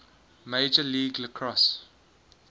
major league lacrosse